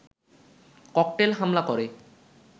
cocktail হামলা করে